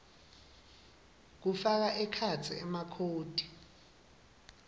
kufaka ekhatsi emakhodi